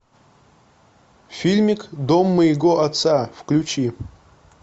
фильмик дом моего отца включи